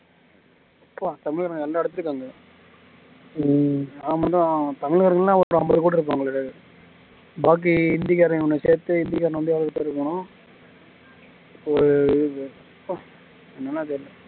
ப்பா தமிழக எல்ல இடத்துலயும் இருக்காங்க நம் தமிழர்கள் ரொம்ப அம்பது கோடி இருப்பாங்களே பாக்கி ஹிந்திக்காரனையும் சேர்த்து ஒரு